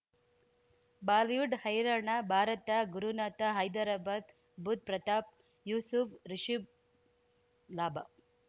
Bollywood ಹೈರಾಣ ಭಾರತ ಗುರುನಾಥ ಹೈದರಾಬಾದ್ ಬುಧ್ ಪ್ರತಾಪ್ ಯೂಸುಫ್ ರಿಷಬ್ ಲಾಭ